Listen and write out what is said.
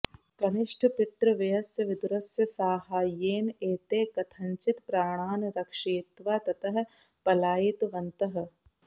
कनिष्ठपितृव्यस्य विदुरस्य साहाय्येन एते कथञ्चित् प्राणान् रक्षयित्वा ततः पलायितवन्तः